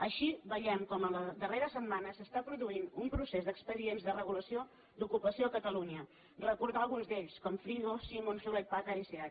així veiem com en la darrera setmana s’està pro duint un procés d’expedients de regulació d’ocupació a catalunya recordem alguns d’ells com frigo simon hewlett packard i seat